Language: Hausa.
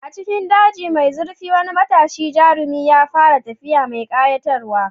A cikin dajin mai zurfi, wani matashin jarumi ya fara tafiya mai ƙayatarwa.